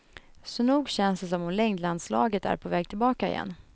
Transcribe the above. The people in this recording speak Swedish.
Så nog känns det som om längdlandslaget är på väg tillbaka igen.